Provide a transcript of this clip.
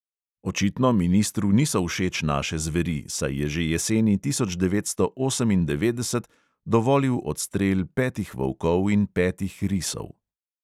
Očitno ministru niso všeč naše zveri, saj je že jeseni tisoč devetsto osemindevetdeset dovolil odstrel petih volkov in petih risov.